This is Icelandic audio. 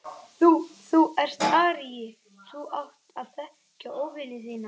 Þú. þú ert aríi, þú átt að þekkja óvini þína.